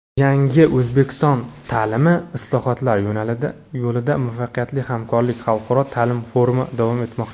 "Yangi O‘zbekiston ta’limi: islohotlar yo‘lida muvaffaqiyatli hamkorlik" xalqaro ta’lim forumi davom etmoqda.